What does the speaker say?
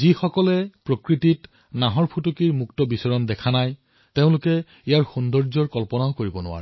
যিসকল লোকে বাঘত প্ৰকৃতিত স্বাচ্ছ্যন্দ ৰূপত ঘূৰি ফুৰা দেখা নাই তেওঁলোকে ইয়াৰ সৌন্দৰ্য কল্পনা কৰিবই নোৱাৰে